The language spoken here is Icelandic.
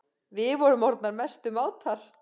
Við vorum orðnar mestu mátar.